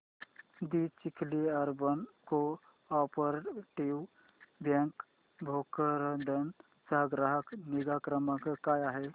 दि Chikhli urban cooperative bank Bhokardan चा ग्राहक निगा क्रमांक काय आहे